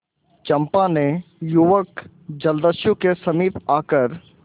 चंपा ने युवक जलदस्यु के समीप आकर